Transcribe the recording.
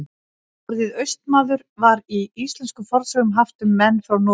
Orðið Austmaður var í íslenskum fornsögum haft um menn frá Noregi.